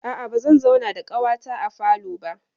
A'a, bazan zauna da ƙawata a falo ba.